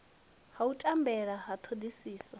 ha u tambela ha thodisiso